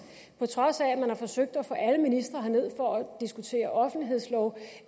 på trods af at man har forsøgt at få alle ministre herned for at diskutere offentlighedslov